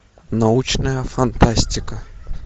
научная фантастика